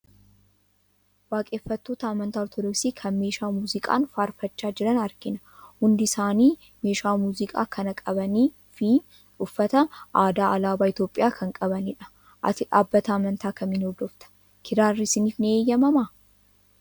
Waaqeffattoota amantaa Ortoodoksii kan meeshaa muuziqaan faarfachaa jiran argina. Hundi isaani meeshaa muuziqaa kana qabanii fi uffata aadaa alaabaa Itoophiyaa kan qabanidha. Ati dhaabbata amantaa kamiin hordofta? Kiraarri isiniif ni eeyyamamaa?